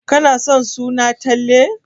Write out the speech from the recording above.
Kana son suna Talle?